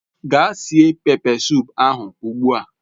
Gaa sie pepe sup ahu ugbua